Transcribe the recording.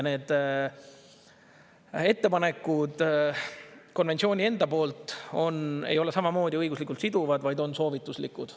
Need konventsiooni enda ettepanekud ei ole samamoodi õiguslikult siduvad, vaid on soovituslikud.